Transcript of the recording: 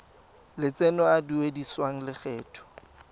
lotseno a a duedisiwang lokgetho